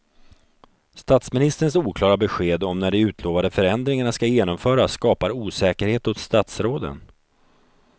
Statsministerns oklara besked om när de utlovade förändringarna ska genomföras skapar osäkerhet hos statsråden.